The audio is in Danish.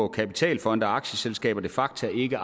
kapitalfonde og aktieselskaber de facto ikke